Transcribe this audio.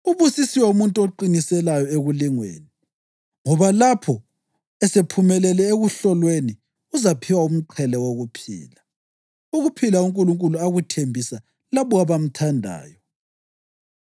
Ubusisiwe umuntu oqiniselayo ekulingweni, ngoba lapho esephumelele ekuhlolweni, uzaphiwa umqhele wokuphila, ukuphila uNkulunkulu akuthembisa labo abamthandayo.